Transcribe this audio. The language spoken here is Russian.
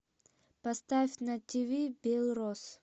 поставь на ти ви белрос